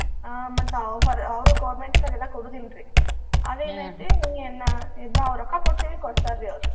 ಆ ಮತ್ತ್ ಅವಾ ಹೊರ~ ಅವ್ರು government ಕ್ಕದು ಎಲ್ಲಾ ಕೊಡುದಿಲ್ರಿ. ಅದ್ ಇನ್ನ ಇದ್ನ ನಾವ ರೊಕ್ಕಾ ಕೊಡ್ತೇವಿ ಕೊಡ್ತಾರಿ ಅವ್ರ್.